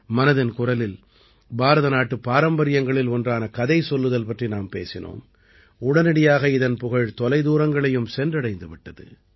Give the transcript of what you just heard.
மனதின் குரலில் பாரத நாட்டுப் பாரம்பரியங்களில் ஒன்றான கதை சொல்லுதல் பற்றி நாம் பேசினோம் உடனடியாக இதன் புகழ் தொலை தூரங்களையும் சென்றடைந்து விட்டது